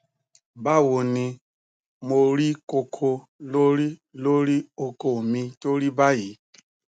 bawoni mo ri koko lori lori oko mi to ri bayi